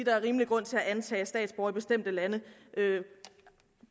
er rimelig grund til at antage at statsborgere i bestemte lande